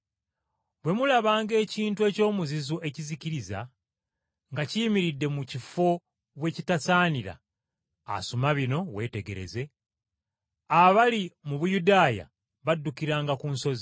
“Bwe mulabanga ekintu eky’omuzizo ekizikiriza, nga kiyimiridde mu kifo we kitasaanira (asoma bino, weetegereze) abali mu Buyudaaya baddukiranga ku nsozi.